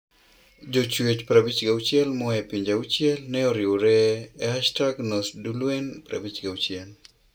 Jochuech 56 moa e pinje 6 ne oriwore e #NosDuelen56.